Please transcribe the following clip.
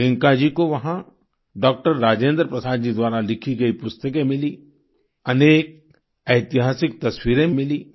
प्रियंका जी को वहाँ डॉक्टर राजेंद्र प्रसाद जी द्वारा लिखी गई पुस्तकें मिलीं अनेक ऐतिहासिक तस्वीरें मिलीं